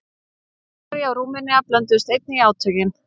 Búlgaría og Rúmenía blönduðust einnig í átökin.